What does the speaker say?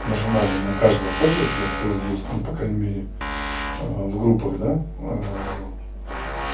нажимали на каждого пользователя кто есть ну по крайней мере в группах да